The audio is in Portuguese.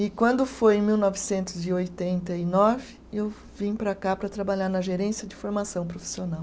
E quando foi em mil novecentos e oitenta e nove, eu vim para cá para trabalhar na gerência de formação profissional.